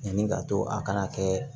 Yanni ka to a kana kɛ